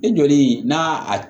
E joli n'a a